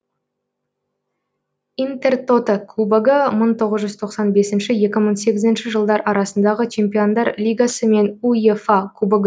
интертото кубогы мың тоғыз тоқсан бесінші екі мың сегізінші жылдар арасындағы чемпиондар лигасы мен уефа кубогы